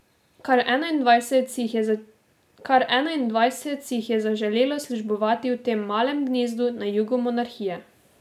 Kar enaindvajset si jih je zaželelo službovati v tem malem gnezdu na jugu monarhije.